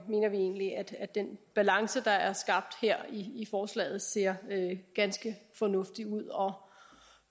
mener vi egentlig at den balance der er skabt her i forslaget ser ganske fornuftig ud og